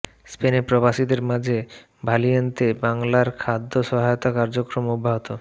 স্পেনে প্রবাসীদের মাঝে ভালিয়েন্তে বাংলার খাদ্য সহায়তা কার্যক্রম অব্যাহত